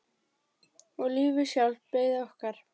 Og lífið sjálft beið okkar.